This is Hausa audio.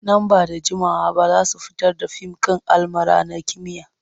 Nan ba da jimawa ba za su fitar da fim kan almara na kimiyya.